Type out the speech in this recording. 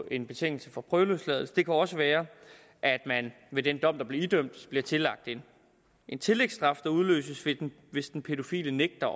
en betingelse for prøveløsladelse det kan også være at man ved den dom man blev idømt bliver tillagt en tillægsstraf der udløses hvis den pædofile nægter